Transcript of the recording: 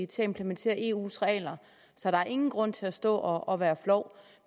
til at implementere eus regler så der er ingen grund til at stå og være flov